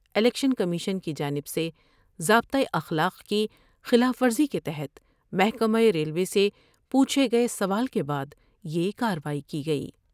Election commission کی جانب سے ضابطہ اخلاق کی خلاف ورزی کے تحت محکمہ ریلوے سے پوچھے گئے سوال کے بعد یہ کاروائی کی گئی ۔